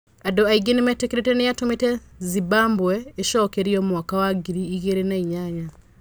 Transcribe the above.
Andũ aingĩ nĩmetĩkĩrĩte nĩatũmĩte Zimbabwe ĩcokererie mwaka wa ngiri igĩrĩ na inyanya.